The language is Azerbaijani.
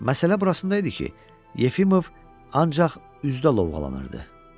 Məsələ burasında idi ki, Yefimov ancaq üzdə lovğalanırdı.